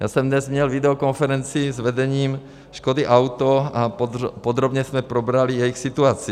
Já jsem dnes měl videokonferenci s vedením Škody Auto a podrobně jsme probrali jejich situaci.